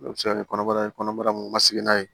O bɛ se ka kɛ kɔnɔbara ye kɔnɔbara mɔsi n'a ye